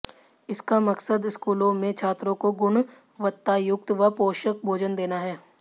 इसका मकसद स्कूलों में छात्रों को गुणवत्तायुक्त व पौषक भोजन देना है